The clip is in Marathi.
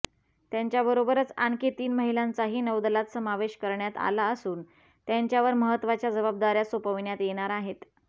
त्यांच्याबरोबरच आणखी तीन महिलांचाही नौदलात समावेश करण्यात आला असून त्यांच्यावर महत्त्वाच्या जबाबदार्या सोपविण्यात येणार आहेत